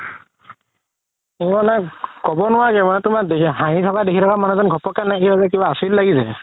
ক'ব নোৱাৰি মানে তুমাৰ হাহি থকা দেখি থকা মানুহজন ঘপকে নাইকিয়া হৈ যাই কিবা আচৰিত লাগি যাই